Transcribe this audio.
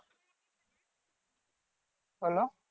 hello